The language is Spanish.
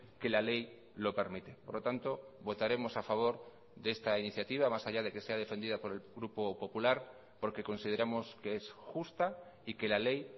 que la ley lo permite por lo tanto votaremos a favor de esta iniciativa más allá de que sea defendida por el grupo popular porque consideramos que es justa y que la ley